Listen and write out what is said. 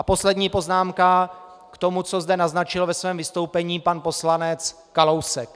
A poslední poznámka k tomu, co zde naznačil ve svém vystoupení pan poslanec Kalousek.